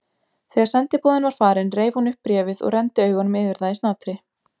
Þegar sendiboðinn var farinn reif hún upp bréfið og renndi augum yfir það í snatri.